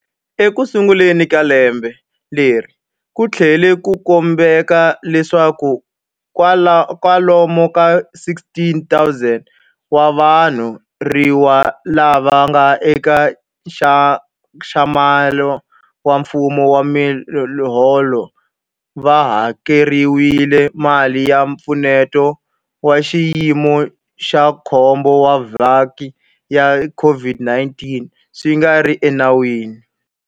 Ekusunguleni ka lembe leri, ku tlhele ku kumeka leswaku kwalomu ka 16,000 wa vathoriwa lava nga eka nxaxamelo wa mfumo wa miholo va hakeriwile mali ya Mpfuneto wa Xiyimo xa Khombo wa Vaaki ya COVID-19 swi nga ri enawini.